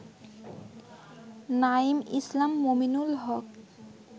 Naim Islam, Mominul Haque